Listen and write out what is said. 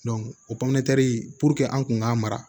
o pɔnperi an kun k'a mara